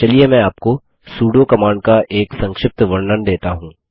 चलिए मैं आपको सुडो कमांड का एक संक्षिप्त वर्णन देता हूँ